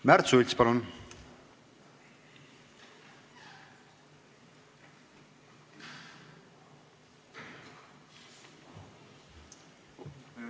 Märt Sults, palun!